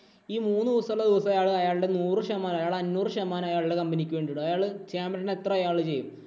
ഈ മൂന്നുദിവസം അയാള് അയാളുടെ നൂറ് ശതമാനം അയാള് അഞ്ഞൂറ് ശതമാനം അയാളുടെ company ഇക്ക് വേണ്ടി അയാൾ എത്ര ദിവസം ചെയ്യും.